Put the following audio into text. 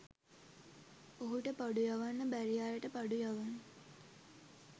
ඔහුට බඩු යවන්න බැරි අයට බඩු යවන්න